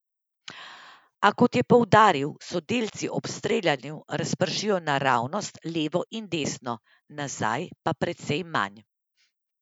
A kot je poudaril, se delci ob streljanju razpršijo naravnost, levo in desno, nazaj pa precej manj.